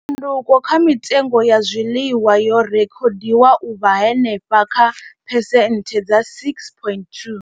Tshanduko kha mitengo ya zwiḽiwa yo rekhodiwa u vha henefha kha phesenthe dza 6.2.